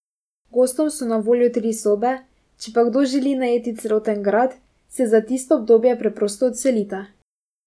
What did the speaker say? Gostom so na voljo tri sobe, če pa kdo želi najeti celoten grad, se za tisto obdobje preprosto odselita.